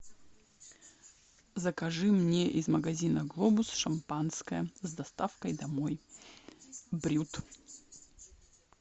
закажи мне из магазина глобус шампанское с доставкой домой брют